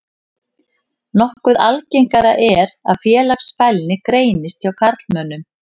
Nokkuð algengara er að félagsfælni greinist hjá karlmönnum.